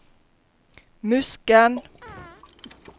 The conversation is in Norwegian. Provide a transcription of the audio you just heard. Musken